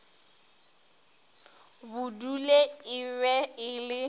budule e be e le